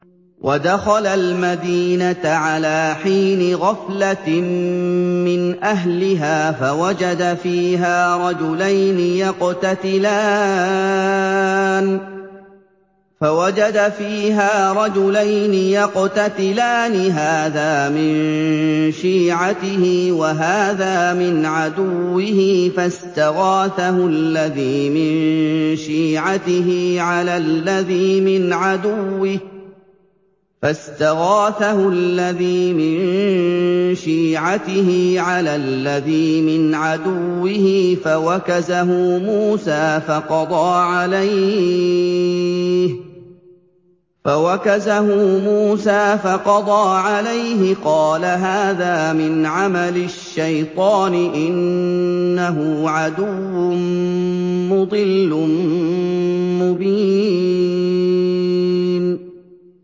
وَدَخَلَ الْمَدِينَةَ عَلَىٰ حِينِ غَفْلَةٍ مِّنْ أَهْلِهَا فَوَجَدَ فِيهَا رَجُلَيْنِ يَقْتَتِلَانِ هَٰذَا مِن شِيعَتِهِ وَهَٰذَا مِنْ عَدُوِّهِ ۖ فَاسْتَغَاثَهُ الَّذِي مِن شِيعَتِهِ عَلَى الَّذِي مِنْ عَدُوِّهِ فَوَكَزَهُ مُوسَىٰ فَقَضَىٰ عَلَيْهِ ۖ قَالَ هَٰذَا مِنْ عَمَلِ الشَّيْطَانِ ۖ إِنَّهُ عَدُوٌّ مُّضِلٌّ مُّبِينٌ